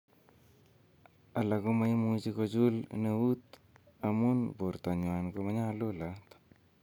"Alak chechang komoimuchi kochul neut amun bortanywan konyalulat."